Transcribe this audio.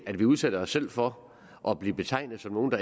at vi udsætter os selv for at blive betegnet som nogle